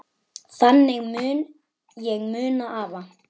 Þannig mun ég muna afa.